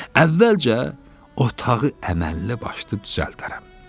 Əvvəlcə otağı əməlli başlı düzəldərəm.